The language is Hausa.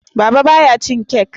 Baba ba ya cin kek